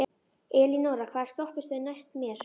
Elínora, hvaða stoppistöð er næst mér?